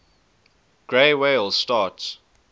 gray whales starts